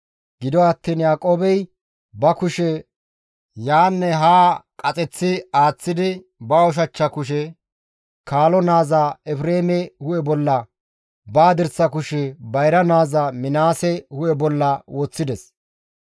Gido attiin Yaaqoobey ba kushe yaanne haa qaaseththi aaththidi ba ushachcha kushe kaalo naaza Efreeme hu7e bolla, ba hadirsa kushe bayra naaza Minaase hu7e bolla woththides.